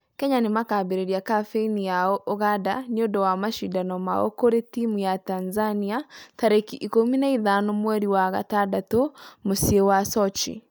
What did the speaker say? Kenya nĩmakambereria kabeini yao ũganda nĩũndũ wa mashidano mao kũri timũ ya Tanzania tarĩki ikũmi na ithano mweri wa gatandatũ mũciĩ wa sochi.